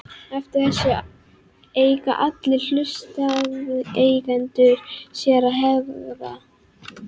Eftir þessu eiga allir hlutaðeigendur sér að hegða.